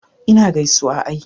ina gaisuwa ai